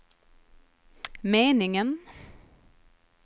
meningen